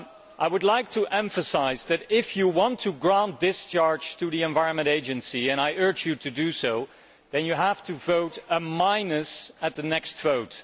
I would like to emphasise that, if you want to grant discharge to the Environment Agency and I urge you to do so then you have to vote against at the next vote.